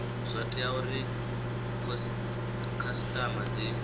zwo tea uri khasitama dzi